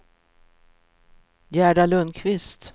Gerda Lundqvist